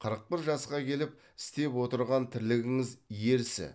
қырық бір жасқа келіп істеп отырған тірлігіңіз ерсі